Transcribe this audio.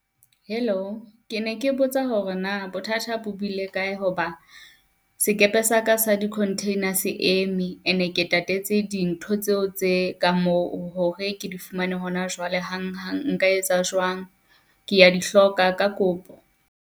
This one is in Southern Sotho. Hello, ke ne ke botsa hore na bothata bo bile kae ho ba sekepe sa ka sa di-containers eme ene ke tatetse dintho tseo tse ka moo hore ke di fumane hona jwale hang hang, nka etsa jwang? Ke ya di hloka ka kopo.